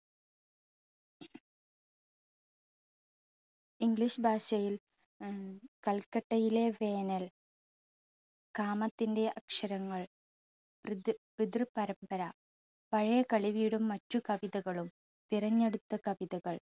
english ഭാഷയിൽ ങും കൽക്കട്ടയിലെ വേനൽ, കാമത്തിൻറെ അക്ഷരങ്ങൾ, പൃത്~പിതൃ പരമ്പര, പഴയ കളിവീടും മറ്റ് കവിതകളും, തിരഞ്ഞെടുത്ത കവിതകൾ